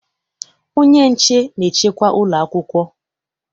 Onye nche na-echekwa ụlọ akwụkwọ